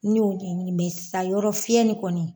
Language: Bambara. Ne y'o ɲɛnini sisan yɔrɔ fiyɛ nin kɔni